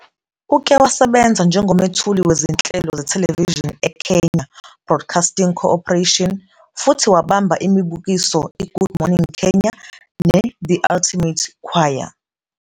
Uke wasebenza njengomethuli wezinhlelo zethelevishini eKenya Broadcasting Corporation futhi wabamba imibukiso "iGood Morning Kenya " "neThe Ultimate Choir".